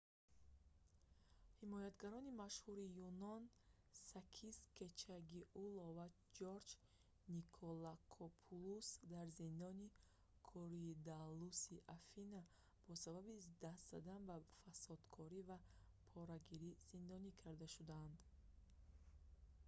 ҳимоятгарони машҳури юнон сакис кечагиоглу ва ҷорҷ николакопулус дар зиндони коридаллуси афина бо сабаби даст задан ба фасодкорӣ ва порагирӣ зиндонӣ карда шуданд